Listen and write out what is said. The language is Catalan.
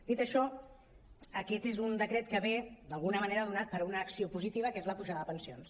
dit això aquest és un decret que ve d’alguna manera donat per una acció posi·tiva que és la pujada de pensions